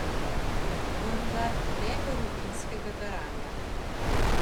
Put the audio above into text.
Vendar ne rutinskega garanja.